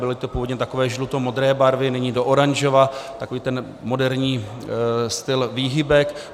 Byly to původně takové žlutomodré barvy, nyní do oranžova, takový ten moderní styl výhybek.